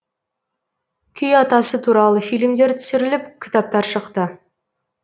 күй атасы туралы фильмдер түсіріліп кітаптар шықты